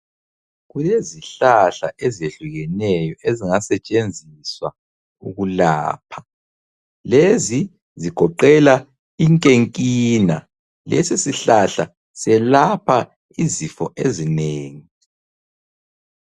Kulezihlahla ezehlukeneyo ezingasetshenziswa ukulapha. Lezi zigoqela inkenkina, lesisihlahla selapha izifo ezinengi.